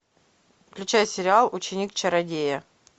включай сериал ученик чародея